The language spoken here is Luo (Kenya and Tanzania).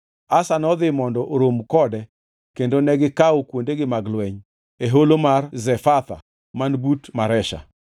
Asa nodhi mondo orom kode kendo negikawo kuondegi mag lweny e Holo mar Zefatha man but Maresha.